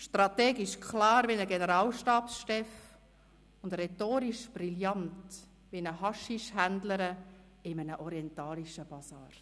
strategisch klar wie ein Generalstabschef und rhetorisch brillant wie eine Haschischhändlerin in einem orientalischen Basar.